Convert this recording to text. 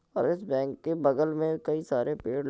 और इस बैंक के बगल में कई सारे पेड़ --